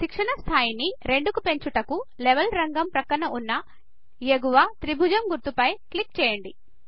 శిక్షణ స్థాయి ని 2 కు పెంచుటకు లెవెల్ రంగం ప్రక్కన ఉన్న ఎగువ త్రిభుజం గుర్తు పైన క్లిక్ చేయండి